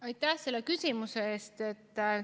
Aitäh selle küsimuse eest!